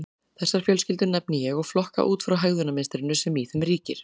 Þessar fjölskyldur nefni ég og flokka út frá hegðunarmynstrinu sem í þeim ríkir.